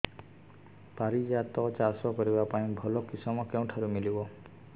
ପାରିଜାତ ଚାଷ କରିବା ପାଇଁ ଭଲ କିଶମ କେଉଁଠାରୁ ମିଳିବ